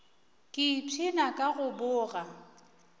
ke ipshina ka go boga